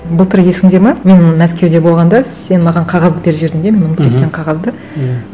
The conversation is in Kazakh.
былтыр есіңде ме мен мәскеуде болғанда сен маған қағазды беріп жібердің мен ұмытып кеткен қағазды иә